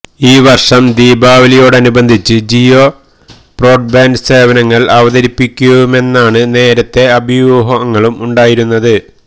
ഈ വര്ഷം ദീപാവലിയോടനുബന്ധിച്ച് ജിയോ ബ്രോഡ്ബാന്ഡ് സേവനങ്ങള് അവതരിപ്പിക്കുമെന്നാണ് നേരത്തെ അഭ്യൂഹങ്ങളുണ്ടായിരുന്നത്